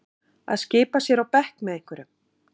Að skipa sér á bekk með einhverjum